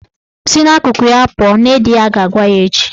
"Si n'akụkụ ya pụọ " Nne di ya ga-agwa ya echi